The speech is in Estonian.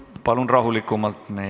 Palun rahulikumalt!